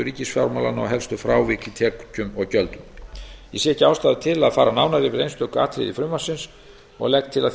ríkisfjármálanna og helstu frávik í tekjum og gjöldum ég sé ekki ástæðu til að fara nánar yfir einstök atriði í frumvarpinu og legg til að